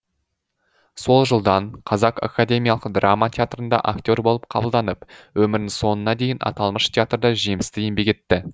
сол жылдан қазақ академиялық драма театрында актер болып қабылданып өмірінің соңына дейін аталмыш театрда жемісті еңбек етті